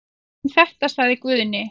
Um þetta sagði Guðni.